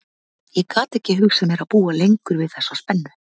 Ég gat ekki hugsað mér að búa lengur við þessa spennu.